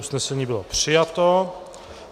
Usnesení bylo přijato.